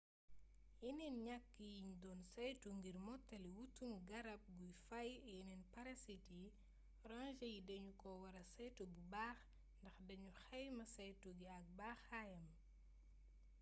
yeneen ñaq yiñ doon saytu ngir mottali wutum garab guy faay yeneen parasite yi ranger yi dañu ko wara saytu bu baax ndax dañu xayma saytu gi ak baaxaayam